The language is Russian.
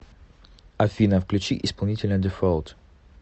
афина включи исполнителя дефолт